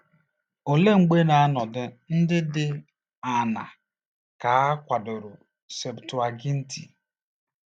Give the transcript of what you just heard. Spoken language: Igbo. Olee mgbe na n'ọnọdụ ndị dị aṅaa ka a kwadoro Septụaginti?